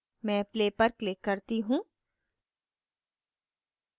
मैं play पर click करती हूँ